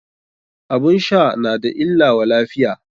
Abun sha na da illa wa lafiya.